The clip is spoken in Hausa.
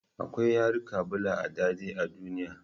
Akwai yarika bula'a dadin a duniya